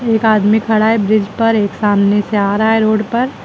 एक आदमी खड़ा है ब्रिज पर एक सामने से आ रहा है रोड पर।